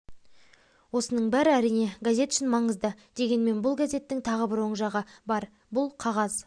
осының бәрі әрине газет үшін маңызды дегенмен бұл газеттің тағы бір оң жағы бар бұл қағаз